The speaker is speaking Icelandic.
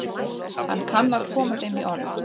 Hann kann að koma þeim í orð.